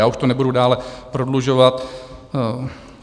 Já už to nebudu dále prodlužovat.